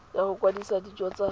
ya go kwadisa dijo tsa